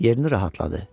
Yerini rahatladı.